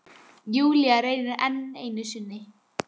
Júlía reynir enn einu sinni.